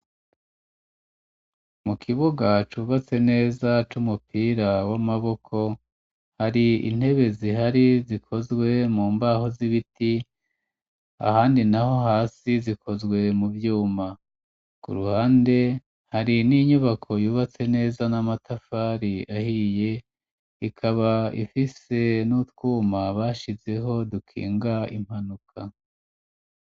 mu kibuga cubatse neza c'umupira w'amaboko, hari intebe zihari zikozwe mu mbaho z'ibiti, ahandi naho hasi zikozwe mu vyuma, yuma ku ruhande hari n'inyubako yubatse neza n'amatafari ahiye ikaba ifise n'utwuma bashizeho dukinga impanuka.